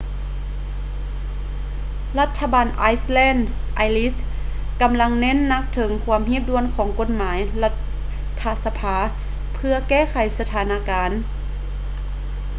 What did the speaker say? ລັດຖະບານໄອແລນ irish ກຳລັງເນັ້ນໜັກເຖິງຄວາມຮີບດ່ວນຂອງກົດໝາຍລັດຖະສະພາເພື່ອແກ້ໄຂສະຖານະການ